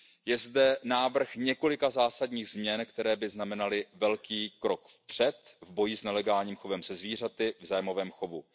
kolegy. Je zde návrh několika zásadních změn, které by znamenaly velký krok vpřed v boji s nelegálním chovem se zvířaty v zájmovém